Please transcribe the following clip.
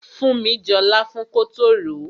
Funmi jọ láfún kótó ròó.